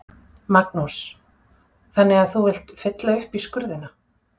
Magnús: Þannig að þú vilt fylla upp í skurðina?